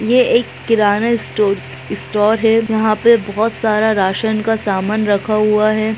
ये एक किनारा स्टो इस स्टोर है यहां पे बहुत सारा राशन का सामान रखा हुआ है।